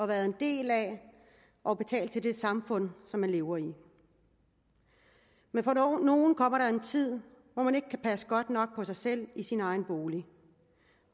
været en del af og betalt til det samfund som man lever i men for nogen kommer der en tid hvor man ikke kan passe godt nok på sig selv i sin egen bolig